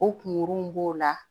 O kunguru b'o la